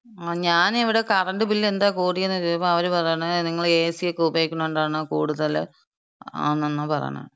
ങാ. ഞാന് ഇവ്ടെ കറണ്ട് ബില്ല് എന്താ കൂടിയേന്ന് ചോദിക്കുമ്പോ, അവര് പറയണെ നിങ്ങള് എ.സി.-ക്ക ഉപയോഗിക്കുണോണ്ടാണ് കൂടുതല് ആവുന്നെന്ന പറയണെ.